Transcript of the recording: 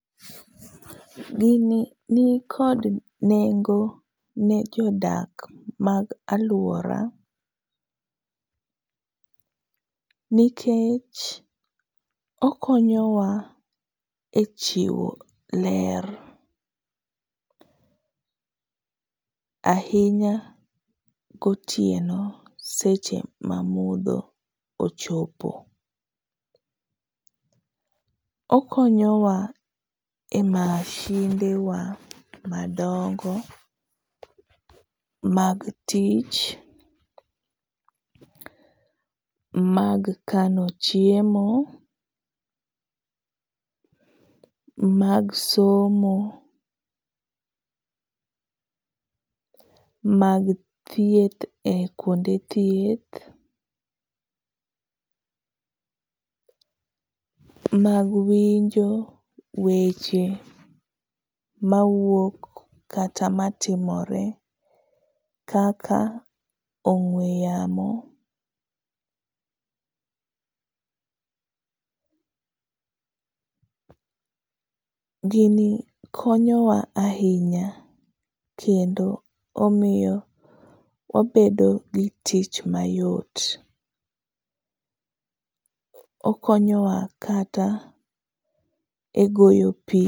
Gini nikod nengo ne jodak mag aluora nikech okonyo wa e chiwo ler ahinya gotieno seche ma mudho ochopo. Okonyowa e masindewa madongo mag tich, mag kano chiemo, mag somo, mag thieth e kuonde thieth, mag winjo weche mawuok kata matimore kaka ong'ue yamo. Gini konyowa ahinya kendo omiyo wabedo gitich mayot. Okonyowa kata e goyo pi